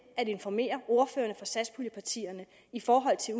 informere ordførerne for satspuljepartierne i forhold til